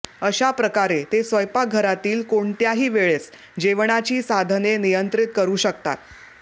अशा प्रकारे ते स्वयंपाकघरातील कोणत्याही वेळेस जेवणाची साधने नियंत्रित करू शकतात